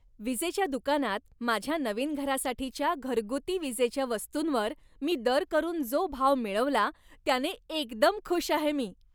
विजेच्या दुकानात माझ्या नवीन घरासाठीच्या घरगुती विजेच्या वस्तूंवर मी दर करून जो भाव मिळवला त्याने एकदम खुश आहे मी.